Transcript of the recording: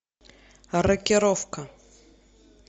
рокировка